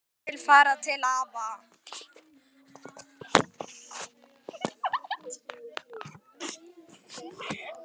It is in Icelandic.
Ég vil fara til afa